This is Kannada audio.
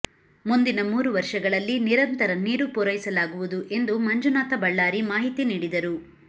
ಮುಂದಿನ ಮೂರು ವರ್ಷಗಳಲ್ಲಿ ನಿರಂತರ ನೀರು ಪೂರೈಸಲಾಗುವುದು ಎಂದು ಮಂಜುನಾಥ ಬಳ್ಳಾರಿ ಮಾಹಿತಿ ನೀಡಿದರು